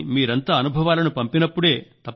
కానీ మీరంతా అనుభవాలను పంపినప్పుడే